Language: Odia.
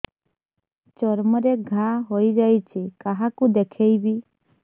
ଚର୍ମ ରେ ଘା ହୋଇଯାଇଛି କାହାକୁ ଦେଖେଇବି